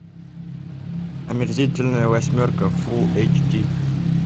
омерзительная восьмерка фулл эйч ди